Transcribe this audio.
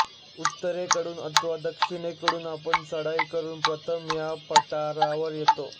उत्तरेकडून अथवा दक्षिणेकडून आपण चढाई करून प्रथम या पठारावर येतो